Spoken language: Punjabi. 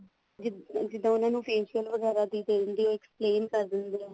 ਜੀ ਜਿੱਦਾਂ ਉਹਨਾ ਨੂੰ facial ਵਗੈਰਾ ਦੀ ਦੇ ਦਿੰਦੇ explain ਕਰ ਦਿੰਦੇ ਆ